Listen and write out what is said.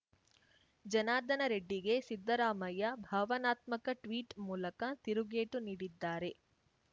ಜನಾರ್ದನ ರೆಡ್ಡಿಗೆ ಸಿದ್ದರಾಮಯ್ಯ ಭಾವನಾತ್ಮಕ ಟ್ವೀಟ್‌ ಮೂಲಕ ತಿರುಗೇಟು ನೀಡಿದ್ದಾರೆ